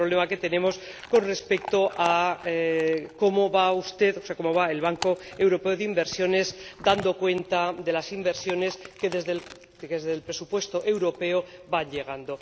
ese es el problema que tenemos con respecto a cómo va usted, o sea, cómo va el Banco Europeo de Inversiones dando cuenta de las inversiones que desde el presupuesto europeo van llegando.